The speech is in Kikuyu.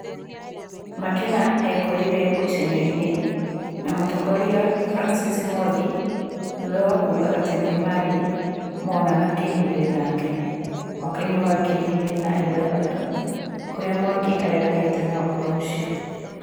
Makena ekorire ngucanio-ĩnĩ na mũtongoria Francis Mwangi thutha wa kuga atĩ nĩmarĩ monana kĩmwĩrĩ nake mwaka-ĩnĩ wa ngiri igĩrĩ na ithathatũ kũrĩa Mwangi areganĩte na ũhoro ũcio